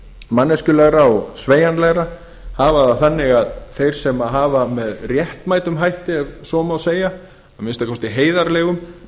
manneskjulegra og sveigjanlegra hafa það þannig að þeim sem hafa með réttmætum hætti ef svo má segja að minnsta kosti heiðarlegum